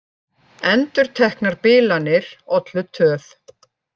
Endurteknar bilanir ollu töf